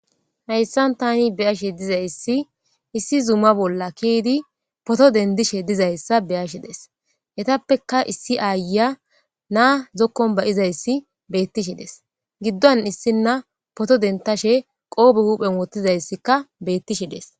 Hayssan tani beyashe dizayssi issi zuma bolla kiidi poto dendishe dizayssa beyashe des hetappeka issi aaya naa zokkon bayizayssi beettishi des giddon issinna poto dentashe qoobe huuphen wottizayssikka beettishe des.